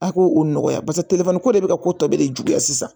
A k'o o nɔgɔya paseke ko de bɛ ka ko tɔ bɛɛ de juguya sisan